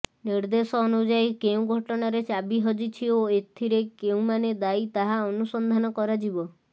ନିଦେ୍ର୍ଦଶ ଅନୁଯାୟୀ କେଉଁ ଘଟଣାରେ ଚାବି ହଜିଛି ଓ ଏଥିରେ କେଉଁମାନେ ଦାୟୀ ତାହା ଅନୁସନ୍ଧାନ କରାଯିବ